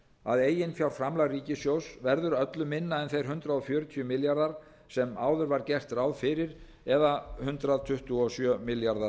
að eiginfjárframlag ríkissjóð verður öllu minna en þeir hundrað fjörutíu milljarðar sem áður var gert ráð fyrir eða hundrað tuttugu og sjö milljarðar